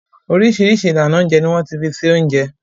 Oríṣiríṣi ìlànà oúnjẹ ni wọ́n ti fi se oúnjẹ.